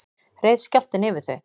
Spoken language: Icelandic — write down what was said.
reið skjálftinn yfir þau